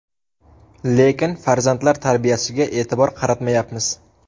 Lekin farzandlar tarbiyasiga e’tibor qaratmayapmiz.